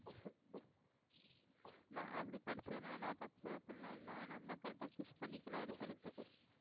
இல்லை அப்படி படிச்சதுனால தப்பு அப்படி எல்லாம் இல்லை நம்ம correct ஆ choose பண்ணிக்கலாம் அடுத்தடுத்து